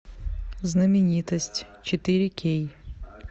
знаменитость четыре кей